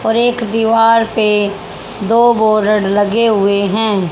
और एक दीवार पे दो बॉड लगे हुए है।